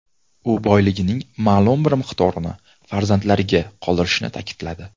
U boyligining ma’lum bir miqdorini farzandlariga qoldirishini ta’kidladi.